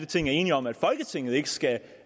ting er enige om at folketinget ikke skal